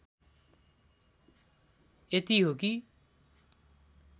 यति हो कि